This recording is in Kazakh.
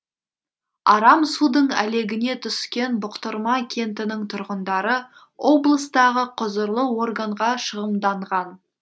арам судың әлегіне түскен бұқтырма кентінің тұрғындары облыстағы құзырлы органға шығымданған